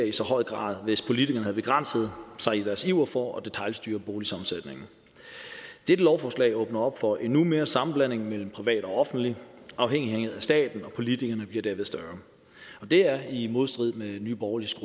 i så høj grad hvis politikerne havde begrænset sig i deres iver for at detailstyre boligsammensætningen dette lovforslag åbner op for endnu mere sammenblanding mellem privat og offentlig afhængighed af staten og politikerne bliver derved større og det er i modstrid med nye borgerliges